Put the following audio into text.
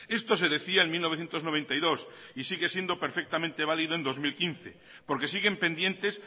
esto se decía en mil novecientos noventa y dos y sigue siendo perfectamente válido en dos mil quince porque siguen pendientes